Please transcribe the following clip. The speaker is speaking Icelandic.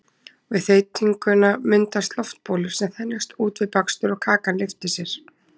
við þeytinguna myndast loftbólur sem þenjast út við bakstur og kakan lyftir sér